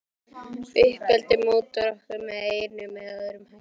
Uppeldið mótar okkur með einum eða öðrum hætti.